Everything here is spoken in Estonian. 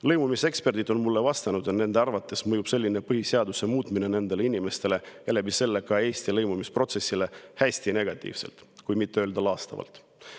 Lõimumiseksperdid on mulle vastanud, et nende arvates mõjub selline põhiseaduse muutmine nendele inimestele ja läbi selle ka Eesti lõimumisprotsessile hästi negatiivselt, kui mitte öelda laastavalt.